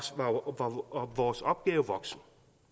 var vores opgave voksen